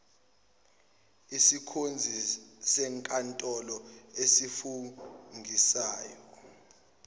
isikhonzi senkantolo esifungisayo